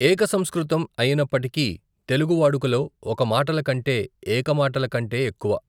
ఏక సంస్కృతం అయినప్పటికీ తెలుగు వాడుకలో ఒక మాటల కంటే ఏక మాటల కంటె ఎక్కువ.